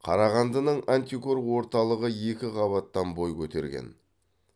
қарағандының антикор орталығы екі қабаттан бой көтерген